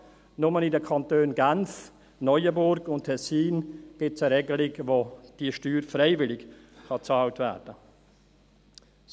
Nur in den Kantonen Genf, Neuenburg und Tessin gibt es eine Regelung, gemäss welcher diese Steuer freiwillig bezahlt werden kann.